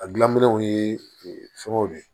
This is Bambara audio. A gilanminenw ye fɛngɛw de ye